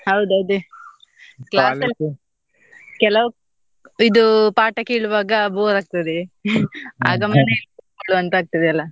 ಹೌದ್ ಅದೇ ಕೆಲವ್ ಇದು ಪಾಠ ಕೇಳ್ವಗ bore ಆಗ್ತದೆ ಕುತ್ಕೊಳ್ಳ್ವ ಅಂತ ಆಗ್ತದಲ್ಲ?